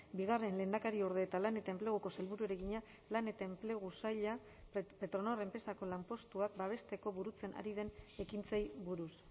bigarren lehendakariorde eta lan eta enpleguko sailburuari egina lan eta enplegu saila petronor enpresako lanpostuak babesteko burutzen ari den ekintzei buruz